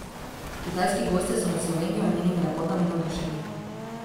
Kitajski gostje so nad Slovenijo in njenimi lepotami navdušeni.